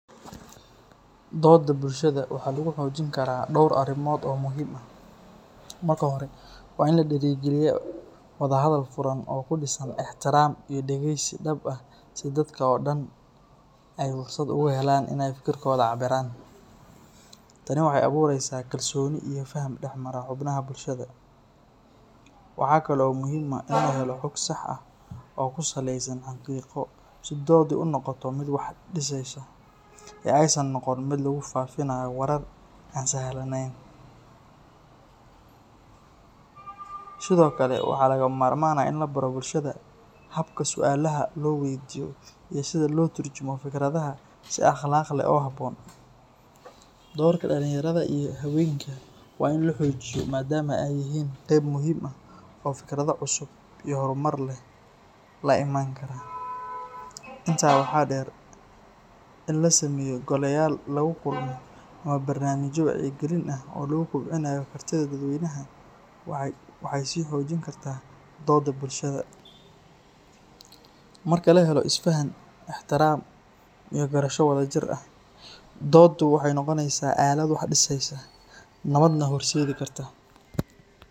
Doodda bulshada waxaa lagu xoojin karaa dhowr arrimood oo muhiim ah. Marka hore, waa in la dhiirrigeliyaa wada hadal furan oo ku dhisan ixtiraam iyo dhegeysi dhab ah si dadka oo dhan ay fursad ugu helaan in ay fikirkooda cabbiraan. Tani waxay abuureysaa kalsooni iyo faham dhexmara xubnaha bulshada. Waxaa kale oo muhiim ah in la helo xog sax ah oo ku saleysan xaqiiqo si dooddu u noqoto mid wax dhiseysa, ee aysan noqon mid lagu faafinayo warar aan sal laheyn. Sidoo kale, waxaa lagama maarmaan ah in la baro bulshada hababka su’aalaha loo weydiiyo iyo sida loo turjumo fikradaha si akhlaaq leh oo habboon. Doorka dhalinyarada iyo haweenka waa in la xoojiyo maadaama ay yihiin qayb muhiim ah oo fikrado cusub iyo horumar leh la imaan kara. Intaa waxaa dheer, in la sameeyo goleyaal lagu kulmo ama barnaamijyo wacyigelin ah oo lagu kobcinayo kartida dadweynaha waxay sii xoojin kartaa doodda bulshada. Marka la helo isfaham, ixtiraam iyo garasho wadajir ah, dooddu waxay noqoneysaa aalad wax dhiseysa, nabadna horseedi karta.